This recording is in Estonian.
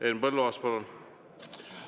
Henn Põlluaas, palun!